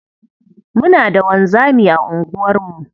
Muna da wanzami a unguwarmu.